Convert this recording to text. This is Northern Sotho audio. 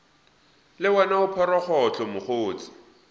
le wena o phorogohlo mokgotse